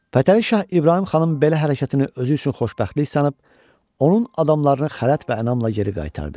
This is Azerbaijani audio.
Fətəli Şah İbrahim xanın belə hərəkətini özü üçün xoşbəxtlik sanıb, onun adamlarını xələt və ənamla geri qaytardı.